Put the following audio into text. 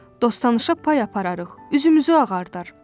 Dost-tanışa pay apararıq, üzümüzü ağardar.